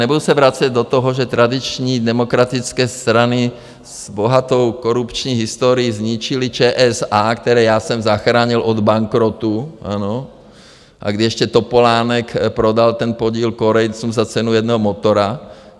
Nebudu se vracet do toho, že tradiční demokratické strany s bohatou korupční historií zničily ČSA, které já jsem zachránil od bankrotu, ano, a kdy ještě Topolánek prodal ten podíl Korejcům za cenu jednoho motoru.